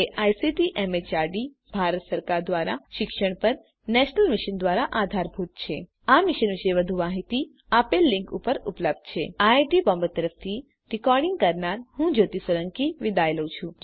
જે ICT MHRD Bharat સરકાર દ્વારા શિક્ષણ પર નેશનલ મિશન દ્વારા આધારભૂત છે આ મિશન વિશે વધુ માહીતી આ લીંક ઉપર ઉપલબ્ધ છે આઈઆઈટી બોમ્બે તરફથી ભાષાંતર કરનાર હું કૃપાલી પરમાર વિદાય લઉં છું